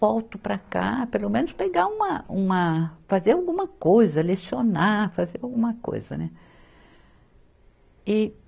Volto para cá, pelo menos pegar uma, uma fazer alguma coisa, lecionar, fazer alguma coisa, né? e